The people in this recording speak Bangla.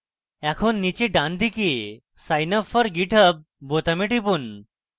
এখন নীচে ডানদিকে sign up for github বোতামে টিপুন